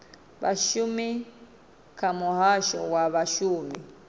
vhashumi kha muhasho wa vhashumi